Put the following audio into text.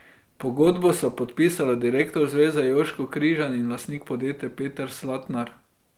Pogodbo sta podpisala direktor zveze Jožko Križan in lastnik podjetja Peter Slatnar.